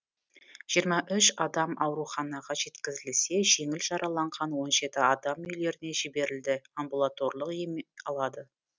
жиырма үш адам ауруханаға жеткізілсе жеңіл жараланған он жеті адам үйлеріне жіберілді амбулаторлық ем алады